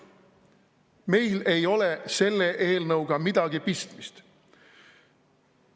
Meil ei ole selle eelnõuga midagi pistmist.